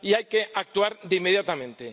Y hay que actuar inmediatamente.